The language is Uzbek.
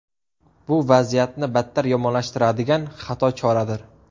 Bu vaziyatni battar yomonlashtiradigan xato choradir.